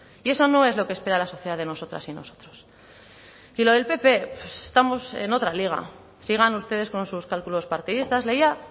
y eso no es lo que espera la sociedad de nosotras y nosotros y lo del pp estamos en otra liga sigan ustedes con sus cálculos partidistas leía